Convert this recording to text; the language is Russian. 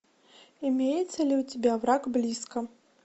имеется ли у тебя враг близко